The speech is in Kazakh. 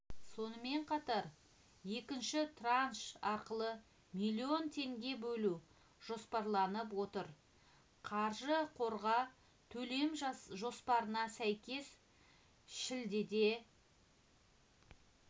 сонымен қатар екінші транш арқылы млн теңге бөлу жоспарланып отыр қаржы қорға төлем жоспарына сәйкес шілдеде